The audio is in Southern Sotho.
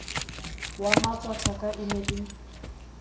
wa matshwakatha e ne e